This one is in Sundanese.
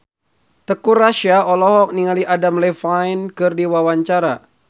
Teuku Rassya olohok ningali Adam Levine keur diwawancara